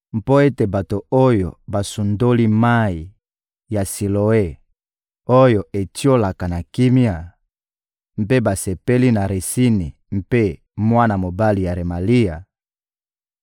«Mpo ete bato oyo basundoli mayi ya Siloe oyo etiolaka na kimia, mpe basepeli na Retsini mpe na mwana mobali ya Remalia,